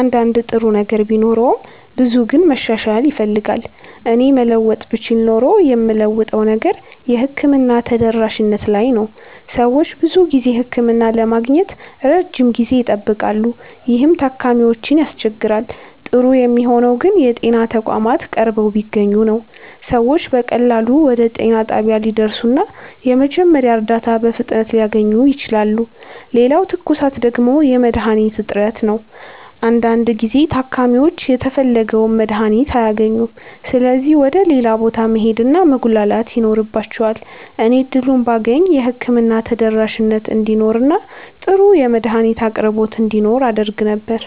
አንዳንድ ጥሩ ነገር ቢኖረውም ብዙው ግን መሻሻል ይፈልጋል። እኔ መለወጥ ብችል ኖሮ የምለውጠው ነገር የሕክምና ተደራሽነት ላይ ነው። ሰዎች ብዙ ጊዜ ህክምና ለማግኘት ረጅም ጊዜ ይጠብቃሉ፣ ይህም ታካሚዎችን ያስቸግራል። ጥሩ የሚሆነው ግን የጤና ተቋማት ቀርበው ቢገኙ ነው። ሰዎች በቀላሉ ወደ ጤና ጣቢያ ሊደርሱ እና የመጀመሪያ እርዳታ በፍጥነት ሊያገኙ ይችላሉ። ሌላው ትኩሳት ደግሞ የመድሀኒት እጥረት ነው። አንዳንድ ጊዜ ታካሚዎች የተፈለገውን መድሀኒት አያገኙም ስለዚህ ወደ ሌላ ቦታ መሄድ እና መጉላላት ይኖርባቸዋል። እኔ እድሉን ባገኝ የህክምና ተደራሽነት እንዲኖር እና ጥሩ የመድሀኒት አቅርቦት እንዲኖር አደርግ ነበር።